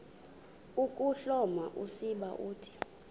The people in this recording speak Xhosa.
ukuhloma usiba uthi